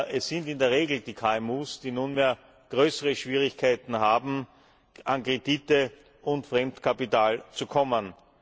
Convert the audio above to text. Es sind in der Regel die KMU, die nunmehr größere Schwierigkeiten haben, an Kredite und Fremdkapital zu kommen.